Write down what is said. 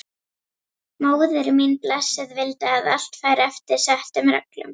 Móðir mín blessuð vildi að allt færi eftir settum reglum.